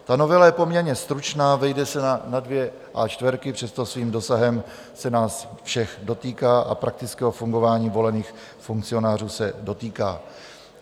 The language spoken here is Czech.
Ta novela je poměrně stručná, vejde se na dvě A4, přesto svým dosahem se nás všech dotýká a praktického fungování volených funkcionářů se dotýká.